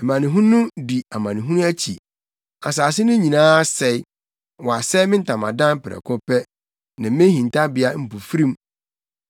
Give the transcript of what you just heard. Amanehunu di amanehunu akyi; asase no nyinaa asɛe. Wɔasɛe me ntamadan prɛko pɛ, ne me hintabea mpofirim.